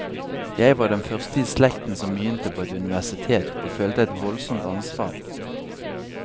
Jeg var den første i slekten som begynte på et universitet, og følte et voldsomt ansvar.